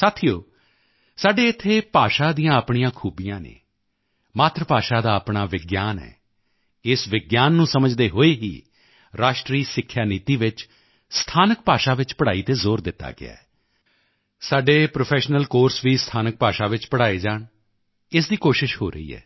ਸਾਥੀਓ ਸਾਡੇ ਇੱਥੇ ਭਾਸ਼ਾ ਦੀਆਂ ਆਪਣੀਆਂ ਖੂਬੀਆਂ ਹਨ ਮਾਤ੍ਰ ਭਾਸ਼ਾ ਦਾ ਆਪਣਾ ਵਿਗਿਆਨ ਹੈ ਇਸ ਵਿਗਿਆਨ ਨੂੰ ਸਮਝਦੇ ਹੋਏ ਹੀ ਰਾਸ਼ਟਰੀ ਸਿੱਖਿਆ ਨੀਤੀ ਵਿੱਚ ਸਥਾਨਕ ਭਾਸ਼ਾ ਵਿੱਚ ਪੜਾਈ ਤੇ ਜ਼ੋਰ ਦਿੱਤਾ ਗਿਆ ਹੈ ਸਾਡੇ ਪ੍ਰੋਫੈਸ਼ਨਲ ਕੋਰਸ ਵੀ ਸਥਾਨਕ ਭਾਸ਼ਾ ਵਿੱਚ ਪੜਾਏ ਜਾਣ ਇਸ ਦੀ ਕੋਸ਼ਿਸ਼ ਹੋ ਰਹੀ ਹੈ